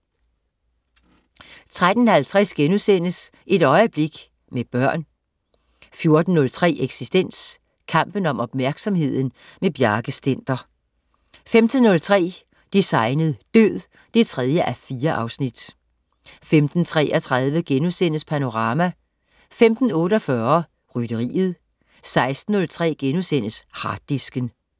13.50 Et øjeblik, med børn* 14.03 Eksistens. Kampen om opmærksomheden. Bjarke Stender 15.03 Designet død 3:4 15.33 Panorama* 15.48 Rytteriet 16.03 Harddisken*